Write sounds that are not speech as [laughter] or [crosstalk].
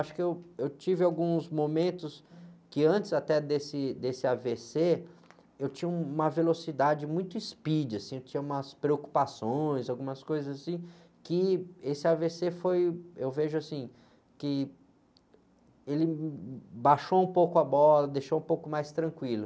Acho que eu, eu tive alguns momentos que antes até desse, desse á-vê-cê, eu tinha uma velocidade muito speed, assim, eu tinha umas preocupações, algumas coisas assim, que esse á-vê-cê foi, eu vejo assim, que ele [unintelligible] baixou um pouco a bola, deixou um pouco mais tranquilo.